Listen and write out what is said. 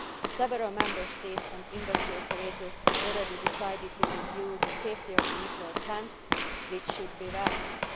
Several Member States and industry operators have already decided to review the safety of the nuclear plants, which should be welcomed.